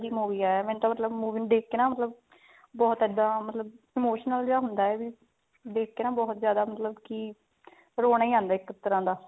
ਮੈਨੂ ਤਾਂ ਮਤਲਬ movie ਨੂੰ ਦੇਖ ਕੇ ਬਹੁਤ ਇੱਦਾਂ ਮਤਲਬ emotional ਜਾ ਹੁੰਦਾ ਹੈ ਦੇਖ ਕੇ ਨਾ ਬਹੁਤ ਜ਼ਿਆਦਾ ਮਤਲਬ ਕੀ ਰੋਨਾ ਹੀ ਆਉਂਦਾ ਇੱਕ ਤਰ੍ਹਾਂ ਦਾ